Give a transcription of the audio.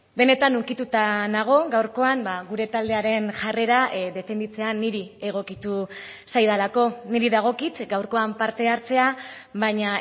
benetan ukituta nago gaurkoan gure taldearen jarrera defenditzea niri egokitu zaidalako niri dagokit gaurkoan parte hartzea baina